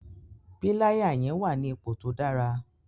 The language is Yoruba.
Píláyà yẹn wà ní ipò tó dára.